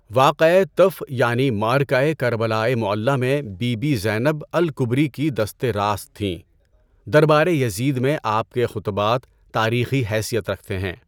واقعۂ طف یعنی معرکۂ کربلائے معلّٰی میں بی بی زینب الکبری کی دستِ راست تھیں۔ دربارِ یزید میں آپ کے خطبات تاریخی حیثیت رکھتے ہیں۔